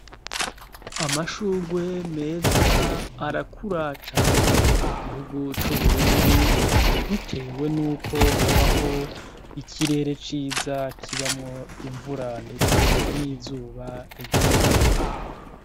Amashugwe meza arakura cane mu gihugu c'Uburundi, bitewe n'uko habaho ikirere ciza kibamwo imvura ndetse n'izuba rigereranye.